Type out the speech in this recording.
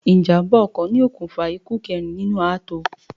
Ìjàm̀bá ọkọ ni okùnfà ikú kẹrin nínú ààtò.